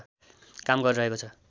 काम गरिरहेको छ